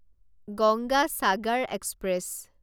Ganga Sagar express